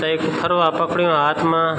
तेकु फरवा पकड़ियू हाथ मा ।